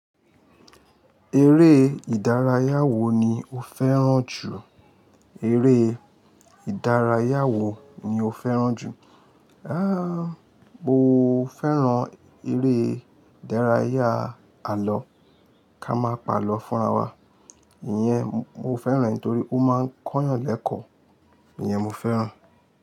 Eré ìdárayá wo ni o fẹ́ràn jù? Eré ìdárayá wo ni o fẹ́ràn jù? Aáà, mo fẹ́ràn eré ìdárayá àlọ́ ká má pa àlọ́ fún ara wa. Ìyẹn mo fẹ́ràn e torí ó máa ń kóyàn lẹ́kọ̀ọ́, ìyẹn mo fẹ́ràn.